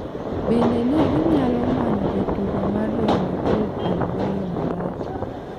Bende ne ginyalo manyo jatugo mar Real Madrid, Alvaro Morata.